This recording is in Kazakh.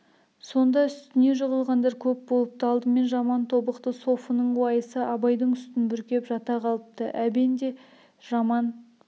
сонда үстіне жығылғандар көп болыпты алдымен жаман тобықты софының уайысы абайдың үстін бүркеп жата қалыпты әбен де жаман